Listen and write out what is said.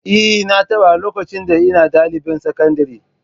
Eh, na taɓa, lokacin da ina ɗalibin sakandare